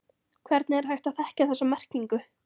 Hvernig er hægt að þekkja þessa merkingu?